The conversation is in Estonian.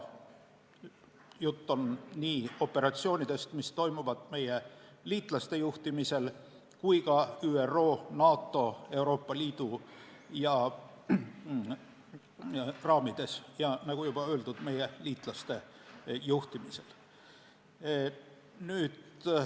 Juttu tuleb nii operatsioonidest, mis toimuvad meie liitlaste juhtimisel, kui ka ÜRO, NATO ja Euroopa Liidu raamides ning meie liitlaste juhtimisel.